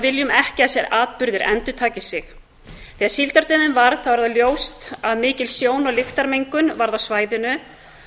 viljum ekki að þessir atburðir endurtaki sig þegar síldardauðinn varð er það ljóst að mikil sjón og lyktarmengun varð á svæðinu